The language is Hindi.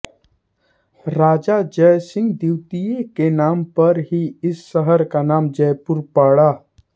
राजा जयसिंह द्वितीय के नाम पर ही इस शहर का नाम जयपुर पड़ा